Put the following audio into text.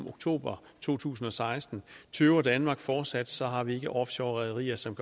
oktober 2016 tøver danmark fortsat så har vi ikke offshore rederier som